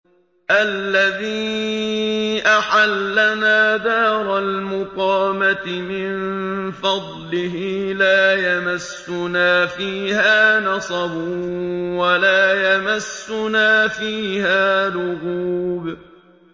الَّذِي أَحَلَّنَا دَارَ الْمُقَامَةِ مِن فَضْلِهِ لَا يَمَسُّنَا فِيهَا نَصَبٌ وَلَا يَمَسُّنَا فِيهَا لُغُوبٌ